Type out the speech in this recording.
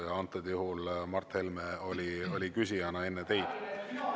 Ja antud juhul Mart Helme oli küsijana enne teid.